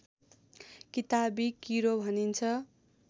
किताबी किरो भनिन्छ